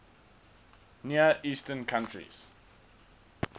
near eastern countries